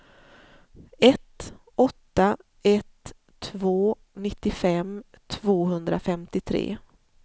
ett åtta ett två nittiofem tvåhundrafemtiotre